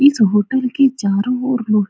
इस होटल के चारो और लोह --